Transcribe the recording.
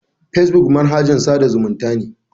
Facebook manahajn tsada zumunta ne.